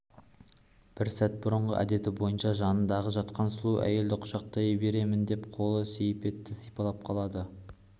бір сәт бұрынғы әдеті бойынша жанында жатқан сұлу әйелін құшақтай беремін деп қолы сейсепті сипалап қалды